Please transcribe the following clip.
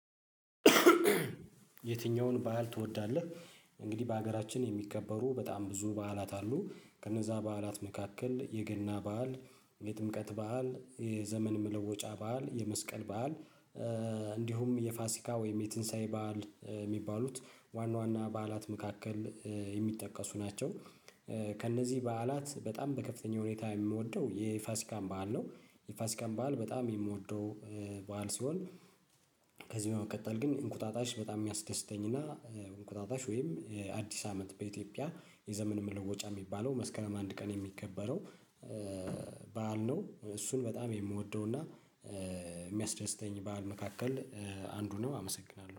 የትኛውን በዓል ትወዳለህ? እንግዲህ በሀገራችን የሚከበሩ በጣም ብዙ በዓላት አሉ ከነዛ በዓላት መካከል የገና በዓል የጥምቀት በዓል የዘመን መለወጫ በዓል የመስቀል በዓል እንዲሁም የፋሲካ ወይም የትንሳኤ በዓል የሚባሉት ዋና ዋና በዓላት መካከል የሚጠቀሱ ናቸው። ከእነዚህ በዓላት በጣም በከፍተኛ ሁኔታ የምወደው የፋሲካም በዓል ነው። የፋስካም በዓል በጣም የምወደው በዓል ሲሆን። ከዚህ በመቀጠል ግን እንቁጣጣሽ በጣም የሚያስደስተኝና እንቁጣጣሽ ወይም አዲስ አመት በኢትዮጵያ የዘመን መለወጫ የሚባለው መስከረም አንድ ቀን የሚከበረው በዓል ነው። እሱን በጣም የምወደውና የሚያስደስተኝ በዓል መካከል አንዱንም አመሰግናለሁ